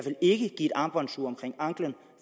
ikke give et armbåndsur omkring anklen